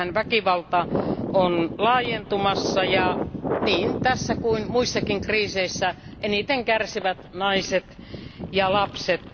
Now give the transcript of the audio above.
Siellähän väkivalta on laajentumassa, ja niin tässä kuin muissakin kriiseissä eniten kärsivät naiset ja lapset.